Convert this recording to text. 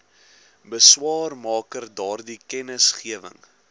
beswaarmaker daardie kennisgewing